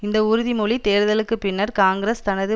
இந்த உறுதிமொழி தேர்தலுக்கு பின்னர் காங்கிரஸ் தனது